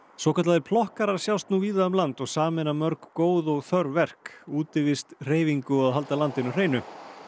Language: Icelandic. svokallaðir sjást nú víða um land og sameina mörg góð og þörf verk útivist hreyfingu og að halda landinu hreinu